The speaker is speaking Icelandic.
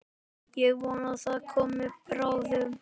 Ég vona það komi bráðum.